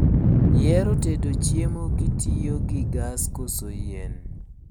Ihero tedo chiemo kitiyogi gas koso yien?